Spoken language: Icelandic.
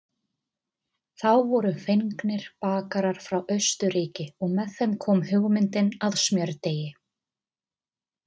Þá voru fengnir bakarar frá Austurríki og með þeim kom hugmyndin að smjördeigi.